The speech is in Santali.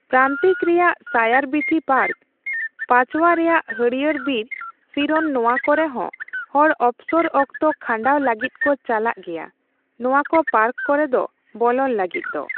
ᱯᱨᱟᱱᱛᱤᱠ ᱨᱮᱭᱟᱜ ᱥᱟᱭᱟᱨᱵᱤᱛᱷᱤ ᱯᱟᱨᱠ, ᱯᱟᱪᱣᱟ ᱨᱮᱭᱟᱜ ᱦᱟᱹᱲᱭᱟᱹᱨ ᱵᱤᱨ ᱥᱤᱨᱚᱱ ᱱᱚᱣᱟᱠᱚᱨᱮ ᱦᱚᱸ ᱦᱚᱲ ᱚᱵᱚᱥᱚᱨ ᱚᱠᱛᱚ ᱠᱷᱟᱱᱰᱟᱣ ᱞᱟᱹᱜᱤᱫ ᱠᱚ ᱪᱟᱞᱟᱜ ᱜᱮᱭᱟ ᱱᱚᱣᱟ ᱠᱚ ᱯᱟᱨᱠ ᱠᱚᱨᱮ ᱫᱚ ᱵᱚᱞᱚᱱ ᱞᱟᱹᱜᱤᱫ ᱫᱚ᱾